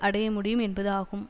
அடைய முடியும் என்பது ஆகும்